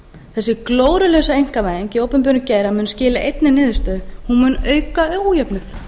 þessi glórulausa einkavæðing í opinberum geira mun skila einni niðurstöðu hún mun auka ójöfnuð